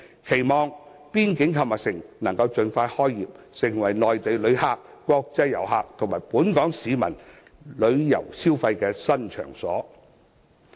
期望邊境購物城能盡快開業，成為內地旅客、國際遊客和本港市民旅遊消費的新場所。